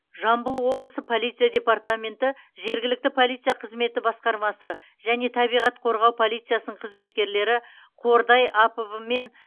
жамбыл облысы полиция департаменті жергілікті полиция қызметі басқармасы және табиғат қорғау полициясының қызметкерлері қордай апб мен